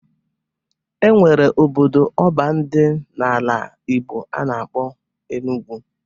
E nwere obodo ọban dị n'ala Igbo a na-akpọ Enugwu